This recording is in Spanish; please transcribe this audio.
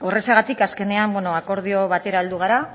horrexegatik azkenean akordio batera heldu gara